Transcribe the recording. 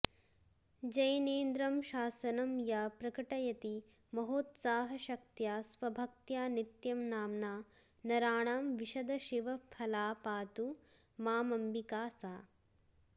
जैनेन्द्रं शासनं या प्रकटयति महोत्साहशक्त्या स्वभक्त्या नित्यं नाम्ना नराणां विशदशिवफला पातु मामम्बिका सा